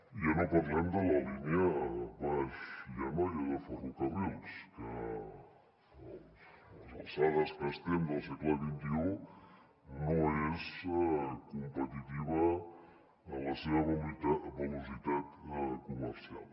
i ja no parlem de la línia baix anoia de ferrocarrils que a les alçades que estem del segle xxi no és competitiva en la seva velocitat comercial